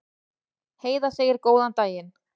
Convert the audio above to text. Heiða segir góðan daginn!